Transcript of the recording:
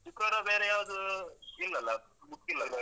ಶುಕ್ರವಾರ ಬೇರೆ ಯಾವ್ದೂ ಇಲ್ಲಲ್ಲ, book ಇಲ್ಲಲ್ಲ?